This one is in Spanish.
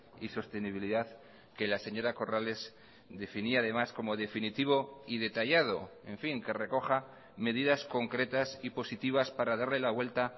y sostenibilidad que la señora corrales definía además como definitivo y detallado en fin que recoja medidas concretas y positivas para darle la vuelta